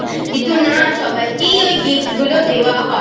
কিন্তু না সবাইকেই ওই Gift গুলো দেওয়া হয়।